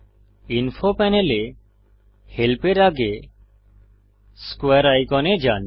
info প্যানেলে help এর আগে স্কোয়ারে আইকনে যান